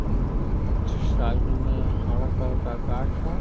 हम्म side में हरा colour का घास है।